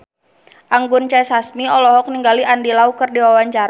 Anggun C. Sasmi olohok ningali Andy Lau keur diwawancara